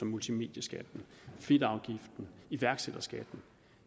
multimedieskatten fedtafgiften og iværksætterskatten